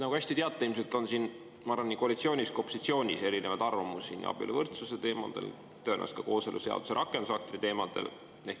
Nagu te hästi teate, ilmselt on siin, ma arvan, nii koalitsioonis kui ka opositsioonis erinevaid arvamusi nii abieluvõrdsuse teemadel kui tõenäoliselt ka kooseluseaduse rakendusaktide teemadel.